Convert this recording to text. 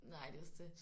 Nej det er også det